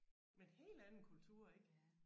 Med en helt anden kultur ik